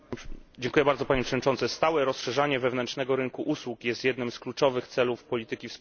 Panie Przewodniczący! Stałe rozszerzanie wewnętrznego rynku usług jest jednym z kluczowych celów polityki wspólnotowej.